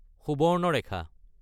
Subarnarekha